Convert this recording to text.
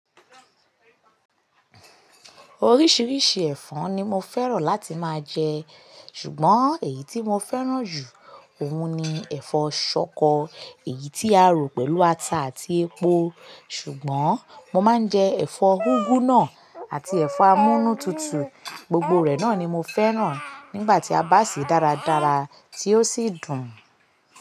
Oríṣiríṣi ẹ̀fọ́ ni mo fẹ́ràn láti máa jẹ, ṣùgbọ́n èyí tí mo fẹ́ràn jù ọ̀ún ni ẹ̀fọ́ ṣọkọ, èyí tí a rò pẹ̀lú ata àti epo. Ṣùgbọ́n mo máa ń jẹ ẹ̀fọ́ úgú náà àti ẹ̀fọ́ amúnútutù, gbogbo rẹ̀ náà ni mo fẹ́ràn nígbà tí a bá sè é dáradára tí ó sì dùn.